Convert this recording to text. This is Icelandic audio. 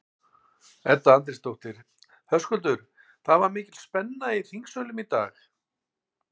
Edda Andrésdóttir: Höskuldur, það var mikil spenna í þingsölum í dag?